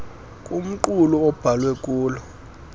kumqulu abhalwe kulo